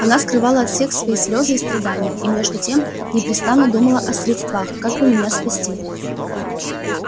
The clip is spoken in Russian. она скрывала от всех свои слезы и страдания и между тем непрестанно думала о средствах как бы меня спасти